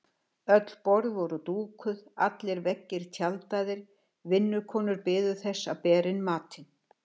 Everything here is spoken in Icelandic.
Öll borð voru dúkuð, allir veggir tjaldaðir, vinnukonur biðu þess að bera inn matinn.